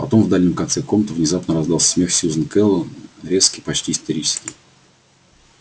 потом в дальнем конце комнаты внезапно раздался смех сьюзен кэлвин резкий почти истерический